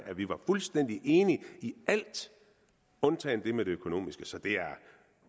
at vi var fuldstændig enige i alt undtagen det med det økonomiske så det er